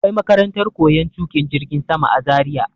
Akwai makarantar koyar tuƙin jirgin sama a Zaria.